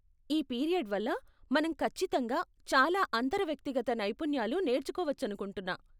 ఈ పీరియడ్ వల్ల మనం ఖచ్చితంగా చాలా అంతరవ్యక్తిగత నైపుణ్యాలు నేర్చుకోవచ్చనుకుంటున్నా.